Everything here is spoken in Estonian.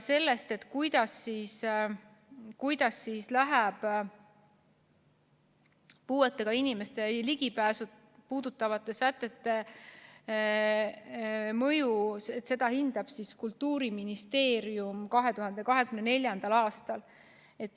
Seda, milline on puuetega inimeste ligipääsu puudutavate sätete mõju, hindab Kultuuriministeerium 2024. aastal.